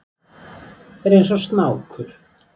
Er eins og snákur.